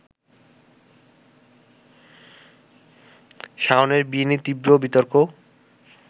শাওনের বিয়ে নিয়ে তীব্র বিতর্ক